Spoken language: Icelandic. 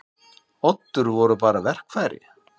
Oddur voru bara verkfæri.